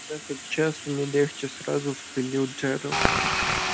час от часу не легче сразу вспылил джералд